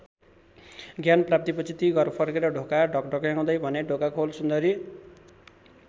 ज्ञान प्राप्तिपछि ती घर फर्के र ढोका ढकढक्याउँदै भने ढोका खोल सुन्दरी।